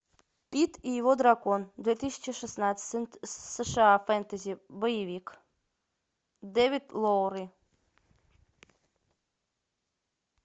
пит и его дракон две тысячи шестнадцать сша фэнтези боевик дэвид лоури